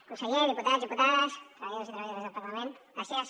conseller diputats diputades treballadors i treballadores del parlament gràcies